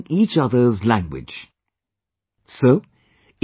They started correcting each other's language errors